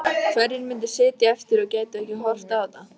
Hverjir myndu sitja eftir og gætu ekki horft á þetta?